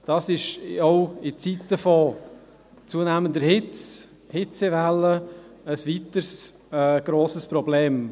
Das ist auch in Zeiten von zunehmender Hitze und Hitzewellen ein weiteres grosses Problem.